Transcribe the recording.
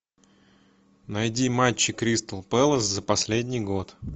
найди матчи кристал пэлас за последний год